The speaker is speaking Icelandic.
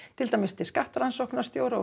til dæmis til skattrannsóknarstjóra og